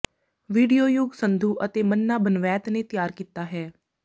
video Yugg Sandhu ਅਤੇ ਮੰਨਾ ਬਨਵੈਤ ਨੇ ਤਿਆਰ ਕੀਤਾ ਹੈ